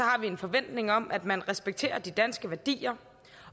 har vi en forventning om at man respekterer de danske værdier